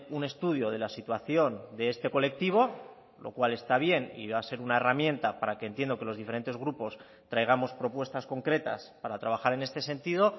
un estudio de la situación de este colectivo lo cual está bien y va a ser una herramienta para que entiendo que los diferentes grupos traigamos propuestas concretas para trabajar en este sentido